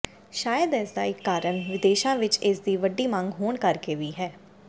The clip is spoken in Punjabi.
ਸ਼ਾਇਦ ਇਸਦਾ ਇੱਕ ਕਾਰਨ ਵਿਦੇਸ਼ਾ ਵਿਚ ਇਸਦੀ ਵੱਡੀ ਮੰਗ ਹੋਣ ਕਰਕੇ ਵੀ ਹੈ